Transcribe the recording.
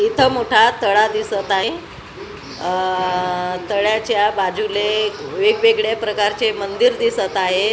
इथ मोठा तळा दिसत आहे अ तळाच्या बाजूले वेगवेगळ्या प्रकारचे मंदिर दिसत आहे.